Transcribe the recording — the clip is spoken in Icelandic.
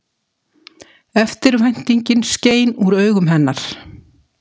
Eftirvæntingin skein úr augum hennar.